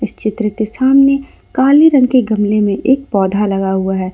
इस चित्र के सामने काले रंग के गमले में एक पौधा लगा हुआ है।